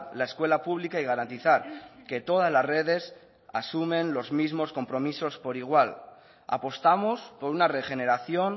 la escuela pública y garantizar que todas las redes asumen los mismos compromisos por igual apostamos por una regeneración